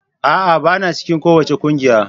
A'a! Bana cikin kowace kungiya.